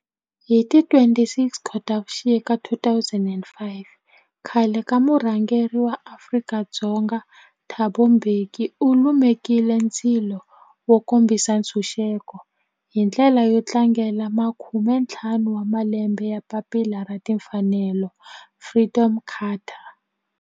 Hi ti 26 Khotavuxika 2005 khale ka murhangeri wa Afrika-Dzonga Thabo Mbeki u lumekile ndzilo wo kombisa ntshuxeko, hi ndlela yo tlangela makume-ntlhanu wa malembe ya papila ra timfanelo, Freedom Charter.